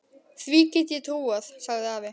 Því get ég trúað, sagði afi.